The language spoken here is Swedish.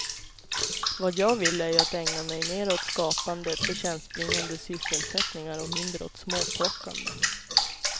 Vad jag vill är ju att ägna mig mera åt skapande, förtjänstbringande sysselsättningar och mindre åt småplockande.